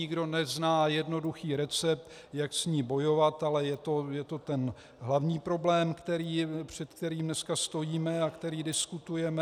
Nikdo nezná jednoduchý recept, jak s ní bojovat, ale je to ten hlavní problém, před kterým dneska stojíme a který diskutujeme.